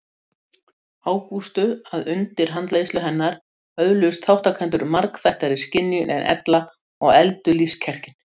Ágústu að undir handleiðslu hennar öðluðust þátttakendur margþættari skynjun en ella og efldu lífskjarkinn.